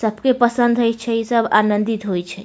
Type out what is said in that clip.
सबके पसंद होय छै सब आंनदित होय छै।